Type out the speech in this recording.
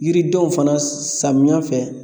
Yiridenw fana samiyɛ fɛ